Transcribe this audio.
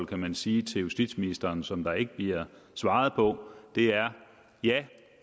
kan sige til justitsministeren som der ikke bliver svaret på er det er